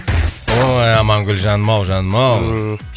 ой амангүл жаным ау жаным ау ммм